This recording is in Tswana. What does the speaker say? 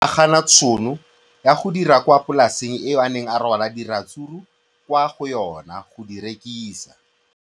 O ne a gana tšhono ya go dira kwa polaseng eo a neng rwala diratsuru kwa go yona go di rekisa.